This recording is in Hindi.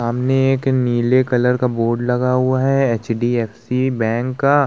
आमने एक नीले कलर का बोर्ड लगा हुआ है एच.डी.एफ.सी. बैंक का।